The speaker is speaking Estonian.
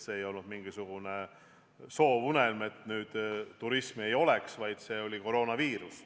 See ei olnud mingisugune soovunelm, et nüüd turismi enam ei oleks, vaid see oli koroonaviirus.